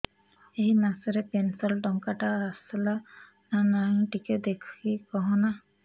ଏ ମାସ ରେ ପେନସନ ଟଙ୍କା ଟା ଆସଲା ନା ନାଇଁ ଟିକେ ଦେଖିକି କହନା